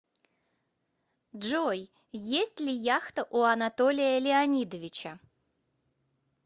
джой есть ли яхта у анатолия леонидовича